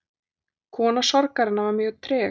Kona sorgarinnar var mjög treg.